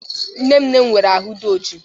Nne nne m nwụrụ anwụ dị ọjị.